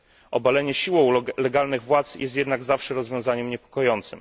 Obalenie siłą legalnych władz jest jednak zawsze rozwiązaniem niepokojącym.